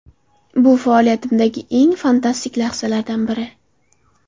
Bu faoliyatimdagi eng fantastik lahzalardan biri.